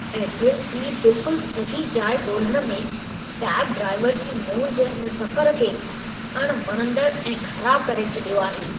Address जी बिल्कुल सही जाइ ॻोल्हणु में कैब ड्राइवर जी मोंझ हिन सफ़रु खे अणवणंदड़ु ऐं ख़राबु करे छॾियो आहे।